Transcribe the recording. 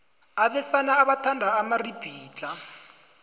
abesana bathanda amaribhidlhla